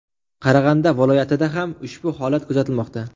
Qarag‘anda viloyatida ham ushbu holat kuzatilmoqda.